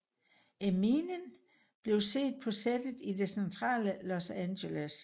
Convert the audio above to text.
Eminem blev set på settet i det centrale Los Angeles